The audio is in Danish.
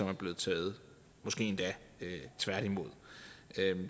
er blevet taget måske endda tværtimod